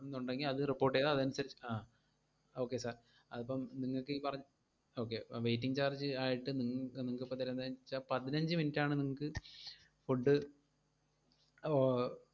എന്നൊണ്ടെങ്കിൽ അത് report എയ്താൽ അതനുസരിച്ച് അഹ് okay sir അതിപ്പോ നിങ്ങക്കീ പറ~ okay, waiting charge ആയിട്ട് നിങ്ങ്~ നിങ്ങക്കിപ്പം തരുന്നതെന്നുവച്ചാ പതിനഞ്ചു minute ആണ് നിങ്ങക്ക് food ആഹ്